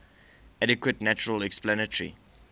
adequate natural explanatory